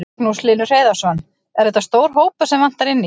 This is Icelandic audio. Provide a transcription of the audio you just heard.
Magnús Hlynur Hreiðarsson: Er þetta stór hópur sem vantar inn í?